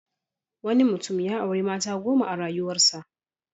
Wanui mutum ya auri mata goma a rayuwarsa.